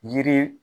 Yiri